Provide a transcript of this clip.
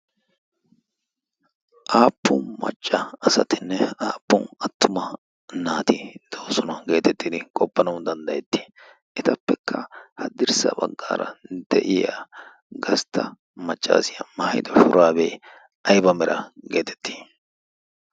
aappun macca asatinne aappun attuma naati doosona geetettidi qoppanau danddayetti etappekka haddirssa baggaara de'iya gastta maccaasiyaa maahido shuraabee aiba mera geetetti?